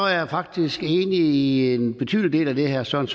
jeg er faktisk enig i en betydelig del af det herre søren